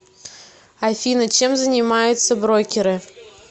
афина чем занимаются брокеры